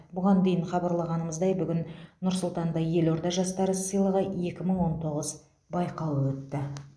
бұған дейін хабарлағанымыздай бүгін нұр сұлтанда елорда жастары сыйлығы екі мың он тоғыз байқауы өтті